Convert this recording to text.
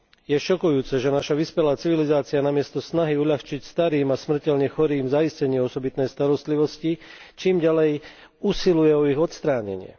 Je šokujúce, že naša vyspelá civilizácia namiesto snahy uľahčiť starým a smrteľne chorým zaistenie osobitnej starostlivosti, čím ďalej usiluje o ich odstránenie.